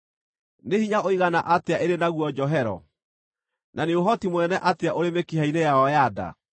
Nĩ hinya ũigana atĩa ĩrĩ naguo njohero, na nĩ ũhoti mũnene atĩa ũrĩ mĩkiha-inĩ yayo ya nda!